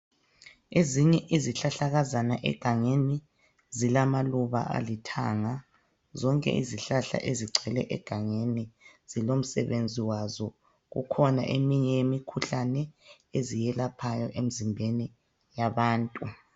Ezinye izihlahlakazana egangeni zilamaluba alithanga. Zonke izihlahla ezigcwele egangeni zilomsebenzi wazo, kukhona eminye imikhuhlane eziyelaphayo emizimbeni yabantu.